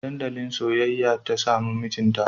A dandalin soyayya ta samu mijinta